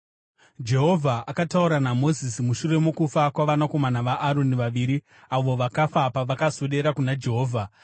Jehovha akataura naMozisi mushure mokufa kwavanakomana vaAroni vaviri avo vakafa pavakaswedera kuna Jehovha.